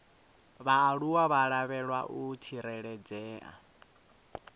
vhaaluwa vha lavhelwa u tsireledzea